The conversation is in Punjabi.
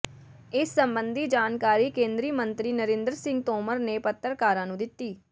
ਇਸ ਸਬੰਧੀ ਜਾਣਕਾਰੀ ਕੇਂਦਰੀ ਮੰਤਰੀ ਨਰਿੰਦਰ ਸਿੰਘ ਤੋਮਰ ਨੇ ਪੱਤਰਕਾਰਾਂ ਨੂੰ ਦਿੱਤੀ